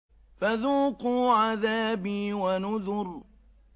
فَذُوقُوا عَذَابِي وَنُذُرِ